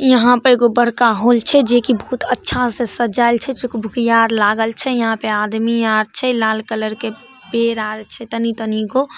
यहां पर एगो बड़का होल छैजे की बहुत अच्छा से सजायएल छै चूकभुकिया आर लागल छै यहां पर आदमी आर छै लाल कलर के पेड़ आर छै तनी तनी गो